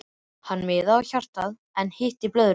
Hann miðaði á hjartað en hitti blöðruna.